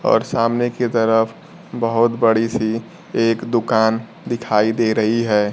और सामने के तरफ बहोत बड़ी सी एक दुकान दिखाई दे रही है।